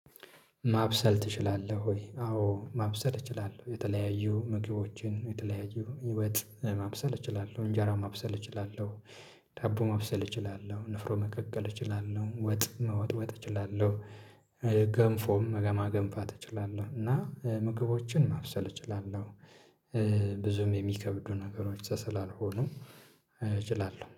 ማብሰል ትችላለህ ወይ? አዎ ማብሰል እችላለሁ የተለያዩ ምግቦችን የተለያዩ ወጥ ማብሰል እችላለሁ፥ እንጀራ ማብሰል እችላለሁ፥ ዳቦ ማብሰል እችላለሁ፥ ንፍሮ መቀቀል እችላለሁ፥ ወጥ መወጥወጥ እችላለሁ ገንፎም ለማገንፋት እችላለሁ እና ምግቦችን ማብሰል እችላለሁ። ብዙም የሚከብዱ ነገሮች ስላልሆነም እችላለሁ።